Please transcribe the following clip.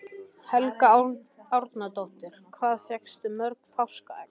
Helga Arnardóttir: Hvað fékkstu mörg páskaegg?